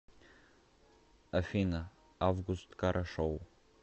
афина август кара шоу